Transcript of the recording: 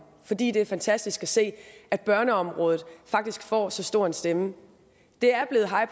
fordi det er fantastisk at se at børneområdet faktisk får så stor en stemme det er blevet high